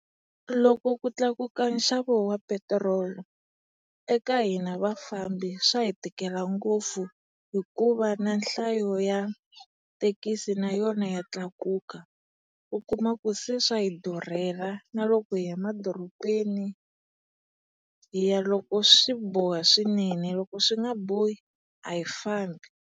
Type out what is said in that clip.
Loko ku tlakuka nxavo wa petiroli, eka hina vafambi swa hi tikela ngopfu hikuva na nhlayo ya thekisi na yona ya tlakuka. U kuma ku se swa hi durhela, na loko hi ya madorobeni, hi ya loko swi boha swinene. Loko swi nga bohi a hi swa hi fambi.